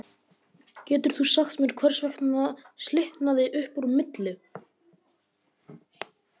Geturðu sagt mér hvers vegna slitnaði upp úr milli